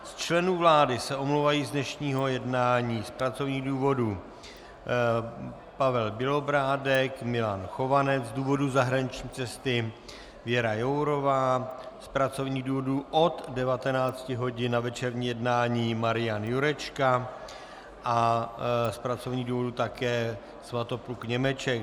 Z členů vlády se omlouvají z dnešního jednání: z pracovních důvodů Pavel Bělobrádek, Milan Chovanec, z důvodu zahraniční cesty Věra Jourová, z pracovních důvodů od 19 hodin na večerní jednání Marian Jurečka a z pracovních důvodů také Svatopluk Němeček.